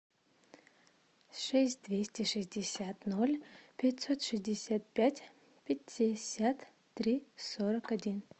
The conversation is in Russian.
шесть двести шестьдесят ноль пятьсот шестьдесят пять пятьдесят три сорок один